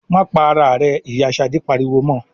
"Má pa ara rẹ!" Ìyá Ṣadé pariwo mọ.